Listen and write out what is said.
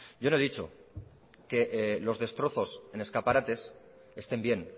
yo no he dicho que los destrozos en escaparates estén bien